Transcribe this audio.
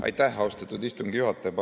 Aitäh, austatud istungi juhataja!